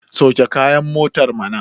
sauke kayan motar mana!